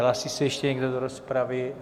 Hlásí se ještě někdo do rozpravy?